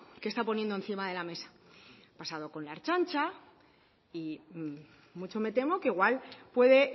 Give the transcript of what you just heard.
que está poniendo encima de la mesa ha pasado con la ertzaintza y mucho me temo que igual puede